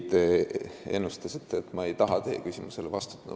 Te ennustasite, et ma ei taha teie küsimusele vastata.